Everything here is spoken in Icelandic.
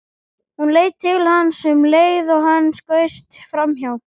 Hún leit til hans um leið og hann skaust framhjá.